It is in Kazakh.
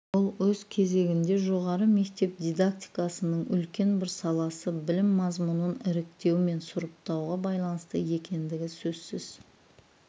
бұл өз кезегінде жоғары мектеп дидактикасының үлкен бір саласы білім мазмұнын іріктеу мен сұрыптауға байланысты екендігі сөзсіз